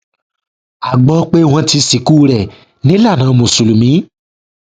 a gbọ pé wọn ti sìnkú rẹ nílànà mùsùlùmí